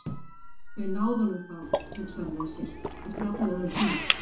Þeir náðu honum þá, hugsaði hann með sér, eftir allan þennan tíma.